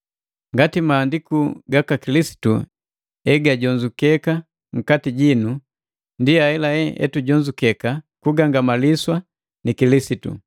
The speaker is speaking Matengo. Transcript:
Ngati mang'aliku gaka Kilisitu egajonzukeka nkati jitu, ndi ahelahela etujonzukeka kugangamaliswa ni Kilisitu.